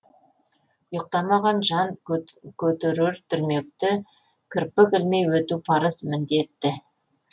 ұйықтамаған жан көтерер дүрмекті кірпік ілмей өту парыз міндетті